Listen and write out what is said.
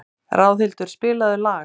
Ráðhildur, spilaðu lag.